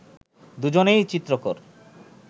দুজনেই চিত্রকর